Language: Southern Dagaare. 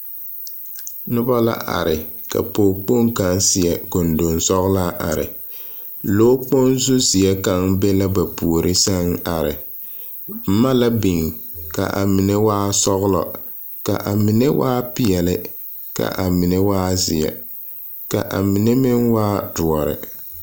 Noba la are, ka pͻge kpoŋ kaŋa a seԑ gondonsͻgelaa are. Lͻͻkpoŋ zuzeԑ kaŋa be la ba puoriŋ sԑŋ are. boma la biŋ, ka a mine waa sͻgelͻ, ka a mine waa peԑle, ka a mine waa zeԑ ka a mine meŋ waa dõͻre.